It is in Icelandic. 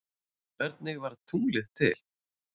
Hvernig varð tunglið til?